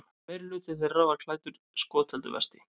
Meirihluti þeirra var klæddur skotheldu vesti